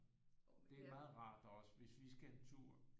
Det er meget rart også hvis vi skal en tur